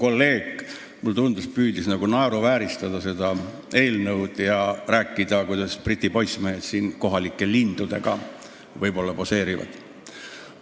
Kolleeg, mulle tundus, püüdis nagu naeruvääristada seda eelnõu ja rääkida, kuidas Briti poissmehed siin võib-olla kohalike lindudega poseerivad.